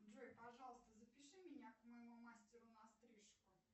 джой пожалуйста запиши меня к моему мастеру на стрижку